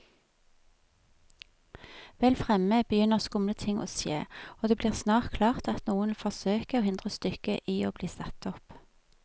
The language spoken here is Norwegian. Vel fremme begynner skumle ting å skje, og det blir snart klart at noen vil forsøke å hindre stykket i bli satt opp.